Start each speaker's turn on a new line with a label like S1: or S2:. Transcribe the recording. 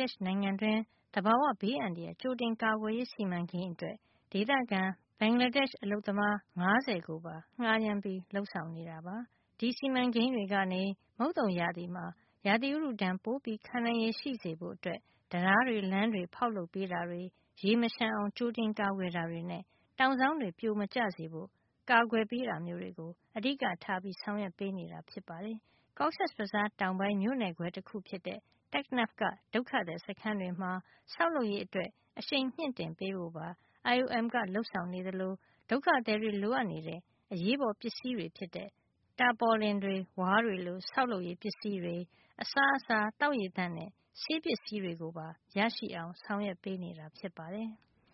S1: ဒေ့ရှ်နိုင်ငံတွင်း သဘာဝဘေးအန္တရာယ် ကြိုတင်ကာကွယ်ရေး စီမံကိန်းအတွက် ဒေသခံ ဘင်္ဂလားဒေ့ရှ် အလုပ်သမား ၅၀ ကိုပါ ငှါးရမ်းပြီး လုပ်ဆောင်နေတာပါ။ ဒီစီမံကိန်းတွေကနေ မုတ်သုန်ရာသီမှာ ရာသီဥတုဒဏ် ပိုပြီး ခံနိုင်ရည် ရှိစေဖို့ တံတားတွေ၊ လမ်းတွေ ဖောက်လုပ်ပေးတာတွေ၊ ရေမလျှံအောင် ကြိုတင်ကာကွယ်တာတွေနဲ့ တောင်စောင်းတွေ ပြိုမကျစေဖို့ ကာကွယ်ပေးတာမျိုးတွေကို အဓိကထား ဆောင်ရွက်နေတာ ဖြစ်ပါတယ်။ Cox’s Bazar တောင်ပိုင်း မြို့နယ်ခွဲ တခုဖြစ်တဲ့ Taknaf က ဒုက္ခသည် စခန်းတွေမှာ ဆောက်လုပ်ရေးအတွက် အဆင့်မြှင့်တင်ပေးဖို့ပါ IOM ကလုပ်ဆောင်နေသလို ဒုက္ခသည်တွေ လိုအပ်နေတဲ့ အရေးပေါ်ပစ္စည်းတွေဖြစ်တဲ့ တာပေါ်လင်တွေ၊ ဝါးတွေလို ဆောက်လုပ်ရေးပစ္စည်းတွေ၊ အစားအစာ၊ သောက်ရေသန့်နဲ့ ဆေးပစ္စည်းတွေကိုပါ ရရှိအောင် ဆောင်ရွက်ပေးနေတာ ဖြစ်ပါတယ်။